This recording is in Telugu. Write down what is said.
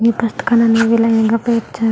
ఈ పుస్తకాలన్నీ లైన్ గా పర్చారు.